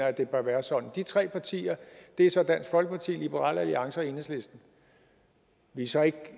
at det bør være sådan de tre partier er så dansk folkeparti liberal alliance og enhedslisten vi er så ikke